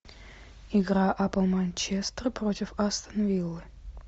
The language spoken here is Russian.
игра апл манчестер против астон виллы